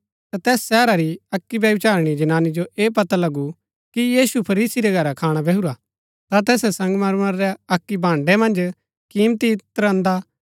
तैस शहरा री अक्की व्यभिचारिणी जनानी जो ऐह पता लगु कि यीशु फरीसी रै घरै खाणा बैहुरा ता तैसै संगमरमर रै अक्की भाण्ड़ै मन्ज किमती इत्र अन्दा